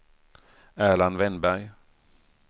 Erland Wennberg